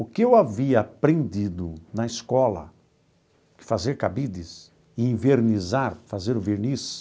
O que eu havia aprendido na escola de fazer cabides e envernizar, fazer o verniz,